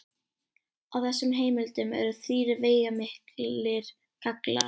Á þessum heimildum eru þrír veigamiklir gallar.